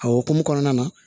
A hokumu kɔnɔna na